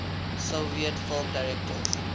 soviet film directors